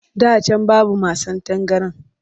Da can babu masan tangaran